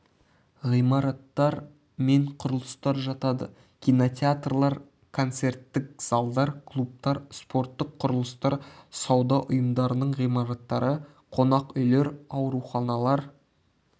ғимараттар мен құрылыстар жатады кинотеатрлар концерттік залдар клубтар спорттық құрылыстар сауда ұйымдарының ғимараттары қонақүйлер ауруханалар